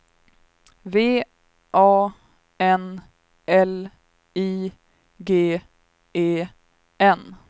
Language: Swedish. V A N L I G E N